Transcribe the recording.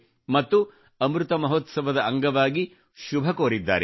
ಮತ್ತು ಅಮೃತ ಮಹೋತ್ಸವದ ಅಂಗವಾಗಿ ಶುಭ ಕೋರಿದ್ದಾರೆ